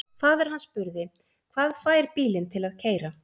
Faðir hann spurði: Hvað fær bílinn til að keyra?